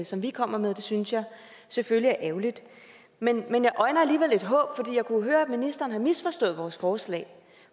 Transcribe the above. som vi kommer med og det synes jeg selvfølgelig er ærgerligt men jeg øjner alligevel et håb for jeg kunne høre at ministeren har misforstået vores forslag